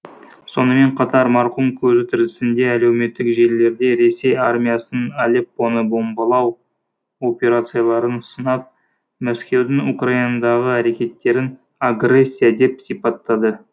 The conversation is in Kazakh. сонымен қатар марқұм көзі тірісінде әлеуметтік желілерде ресей армиясының алеппоны бомбалау операцияларын сынап мәскеудің украинадағы әрекеттерін агрессия деп сипаттады